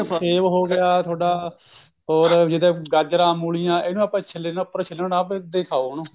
ਸੇਬ ਹੋ ਗਿਆ ਤੁਹਾਡਾ ਹੋਰ ਜਿੱਦਾਂ ਗਾਜਰਾ ਮੁੱਲੀਆ ਇਹਨੂੰ ਆਪਾਂ ਛੀਲੜ ਇਹਨੂੰ ਆਪਣਾ ਛੀਲੜ ਨਾ ਉਤਾਰੋ ਏਧਾ ਹੀ ਖਾਓ